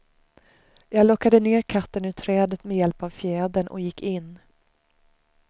Jag lockade ner katten ur trädet med hjälp av fjädern och gick in.